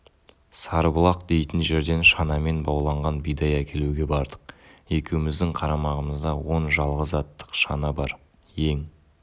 сарыбұлақ дейтін жерден шанамен бауланған бидай әкелуге бардық екеуіміздің қарамағымызда он жалғыз аттық шана бар ең